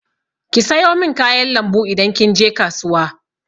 Ki sayo min kayan lambu idan kin je kasuwa!